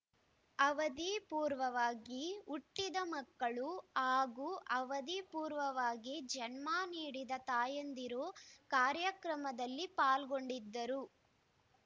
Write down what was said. ಅವಧಿ ಪೂರ್ವವಾಗಿ ಹುಟ್ಟಿದ ಮಕ್ಕಳು ಹಾಗೂ ಅವಧಿ ಪೂರ್ವವಾಗಿ ಜನ್ಮ ನೀಡಿದ ತಾಯಂದಿರು ಕಾರ್ಯಕ್ರಮದಲ್ಲಿ ಪಾಲ್ಗೊಂಡಿದ್ದರು